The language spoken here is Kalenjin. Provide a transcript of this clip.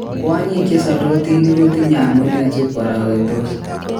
Kwanyik chesalotinik kotinye amune si kwaraketos?